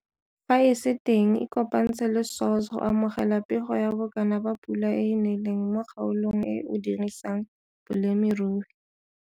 Fa e se teng ikopantshe le SAWS go amogela pego ya bokana ba pula e e neleng mo kgaolong e o dirisang bolemirui.